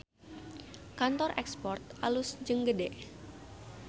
Kantor Export alus jeung gede